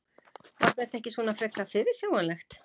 Var þetta ekki svona frekar fyrirsjáanlegt?